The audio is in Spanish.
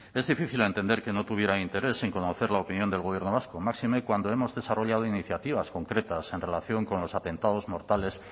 es difícil entender que no tuviera interés en conocer la opinión del gobierno vasco máxime cuando hemos desarrollado iniciativas concretas en relación con los atentados mortales